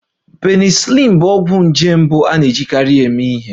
Penicillin bụ ọgwụ nje mbụ a na-ejikarị eme ihe